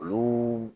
Olu